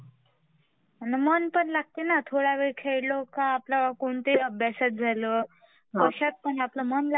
आना मन पण लागते ना आपला थोड्यावेळ खेळलो काय ते आपला कोणत्या पण अभ्यासात झाला कश्यात पण आपला मन लागते ना.